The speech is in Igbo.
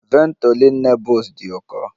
Ventolin Nebules dị ụkọ